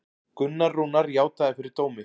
Gunnar Rúnar játaði fyrir dómi